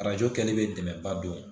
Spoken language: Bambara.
Arajo kɛli bɛ dɛmɛba don